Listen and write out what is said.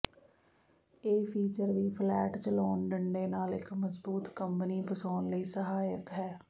ਇਹ ਫੀਚਰ ਵੀ ਫਲੈਟ ਚਲਾਉਣ ਡੰਡੇ ਨਾਲ ਇੱਕ ਮਜ਼ਬੂਤ ਕੰਬਣੀ ਫਸਾਉਣ ਲਈ ਸਹਾਇਕ ਹੈ